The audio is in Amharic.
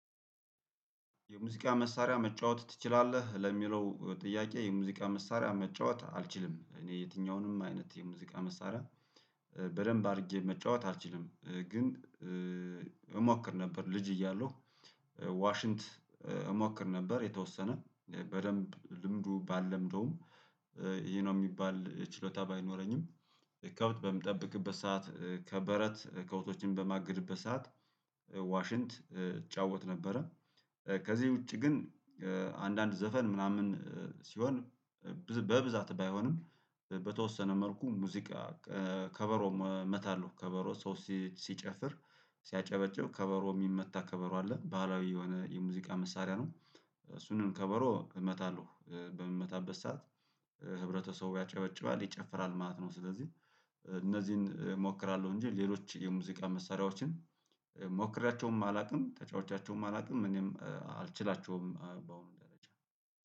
የሙዚቃ መሳሪያ መጫወት ትችላለህ? ለሚለው ጥያቄ የሙዚቃ መሳሪያ መጫወት አልችልም እኔ የትኛውንም አይነት የሙዚቃ መሳሪያ በደንብ አድርጌ መጫወት አልችልም። ግን እሞክር ነበር ልጅ እያሉ ዋሽንት እሞክር ነበር። የተወሰነ በደንብ ልምዱ ባልለምደውም ይሄ ነው የሚባል ችሎታ ባይኖረኝም ከብት በምጠብቅበት ሰዓት ከበረት ከብቶችን በማግድበት ሰዓት ዋሽንት እጫወት ነበረ። ከዚህ ውጪ ግን አንዳንድ ዘፈን ምናምን ሲሆን በብዛት ባይሆንም በተወሰነ መልኩ ሙዚቃ ከበሮ እመታለሁ ከበሮ ሰው ሲጨፍር ሲያጨበጭብ ከበሮ የሚመታ ከበሮ አለ ባህላዊ የሆነ የሙዚቃ መሳሪያ ነው። እሱንም ከበሮ እመታለሁ በምመታበት ሰዓት ህብረተሰቡ ያጨበጭባል ይጨፍራል ማለት ነው። ስለዚህ እነዚህን እሞክራለሁ እንጂ ሌሎች የሙዚቃ መሳሪያዎችን ሞክራቸውም አላውቅም ተጫዋቻቸውም አላውቅም እኔም አልችላቸውም በአሁኑ ደረጃ